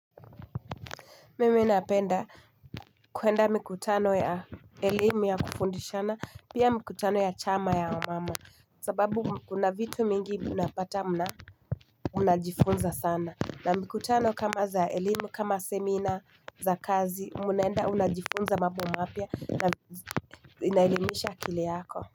Mimi napenda kuenda mikutano ya elimu ya kufundishana pia mikutano ya chama ya wamamu sababu kuna vitu mingi unapata unajifunza sana na mikutano kama za elimu kama semina za kazi munaenda unajifunza mambo mapya na inaelimisha akili yako.